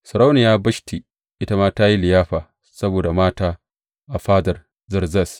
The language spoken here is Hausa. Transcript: Sarauniya Bashti ita ma ta yi liyafa saboda mata a fadar Sarki Zerzes.